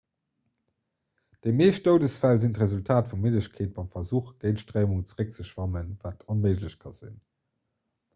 déi meescht doudesfäll sinn d'resultat vu middegkeet beim versuch géint d'stréimung zeréckzeschwammen wat onméiglech ka sinn